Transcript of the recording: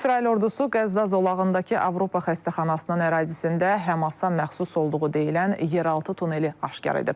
İsrail ordusu Qəzza zolağındakı Avropa xəstəxanasının ərazisində Həmasa məxsus olduğu deyilən yeraltı tuneli aşkar edib.